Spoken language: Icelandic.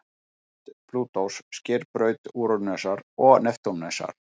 Braut Plútós sker braut Úranusar og Neptúnusar.